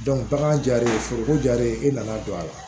bagan jar'e foroko jalen ye i nana don a la